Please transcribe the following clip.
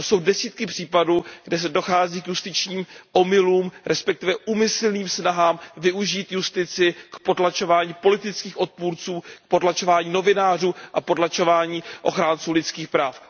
To jsou desítky případů, kde dochází k justičním omylům, respektive k úmyslným snahám využít justici k potlačování politických odpůrců, k potlačování novinářů a potlačování ochránců lidských práv.